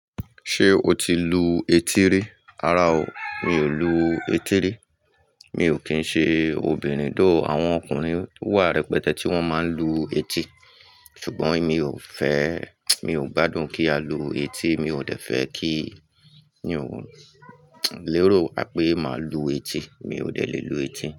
Ṣé o ti lu etí rí? Rara o, mi ò lu etí rí. Mi ò kín ṣe obìnrin, àwọn ọkùnrin wà rẹpẹtẹ tí wón máa ń lu etí sùgbón mi ò fẹ́, mi ò gbádùn kí a lu etí, mi ò dẹ̀ fẹ́ kí ni òun, lérò pé mà lu etí, mi ò dẹ̀ lè lu etí.